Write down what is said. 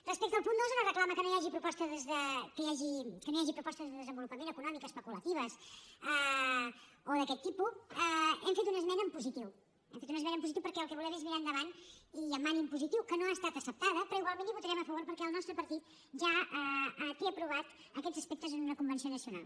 respecte al punt dos una reclama que no hi hagi propostes de desenvolupament econòmic especulatives o d’aquest tipus hem fet una esmena en positiu hem fet una esmena en positiu perquè el que volem és mirar endavant i amb ànim positiu que no ha estat acceptada però igualment hi votarem a favor perquè el nostre partit ja té aprovats aquests aspectes en una convenció nacional